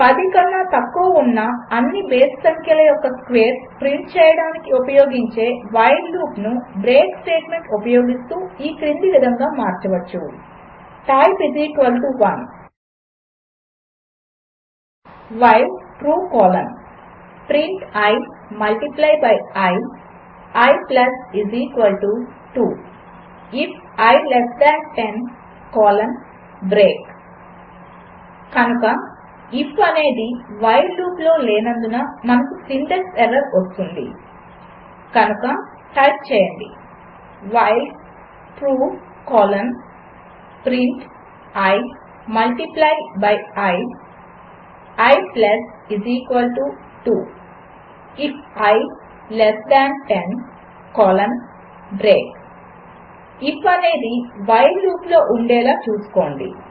10 కన్నా తక్కువ ఉన్న అన్ని బేసి సంఖ్యల యొక్క స్క్వేర్స్ ప్రింట్ చేయడానికి ఉపయోగించే వైల్ లూప్ను బ్రేక్ స్టేట్మెంట్ ఉపయోగిస్తూ ఈ క్రింది విధంగా మార్చవచ్చు type 1 while true colon print i multiply by i i 2 IF i less than 10 colon break కనుక ఐఎఫ్ అనేది వైల్ లూప్లో లేనందున మనకు సింటాక్స్ ఎర్రర్ వస్తుంది కనుక టైప్ చేయండి while true colon print i multiply by i i 2 IF i less than 10 colon break if అనేది while లూప్లో ఉండేలా చూసుకోండి